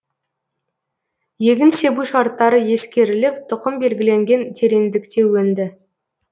егін себу шарттары ескеріліп тұқым белгіленген тереңдікте өнді